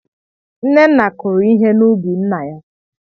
Nneoma kụrụ ihe na ubi nna ya.